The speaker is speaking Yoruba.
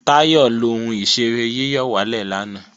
Táyọ̀ lọ ohun ìṣeré yíyọ̀wálè lanay